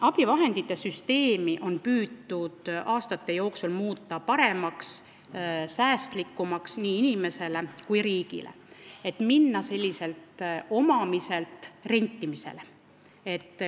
Abivahendite süsteemi on püütud aastate jooksul muuta paremaks ja säästlikumaks nii inimesele kui ka riigile, minnes omamiselt üle rentimisele.